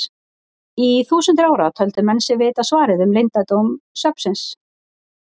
Í þúsundir ára töldu menn sig vita svarið um leyndardóm svefnsins.